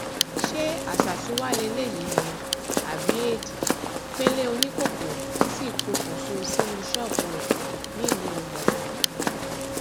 ṣé àṣàsí wàá lélẹyìí ni àbí éèdì pẹlẹ oníkókó sì pokùṣọ sínú ṣọọbù rẹ nílùú gbọngàn